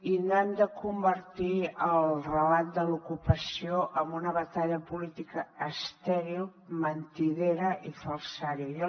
i no hem de convertir el relat de l’ocupació en una batalla política estèril mentidera i falsària